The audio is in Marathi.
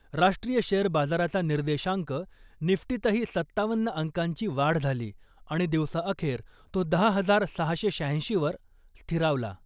राष्ट्रीय शेअर बाजाराचा निर्देशांक निफ्टीतही सत्तावन्न अंकांची वाढ झाली आणि दिवसाअखेर तो दहा हजार सहाशे शहाऐंशीवर स्थिरावला .